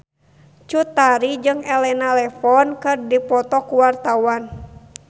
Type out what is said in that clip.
Cut Tari jeung Elena Levon keur dipoto ku wartawan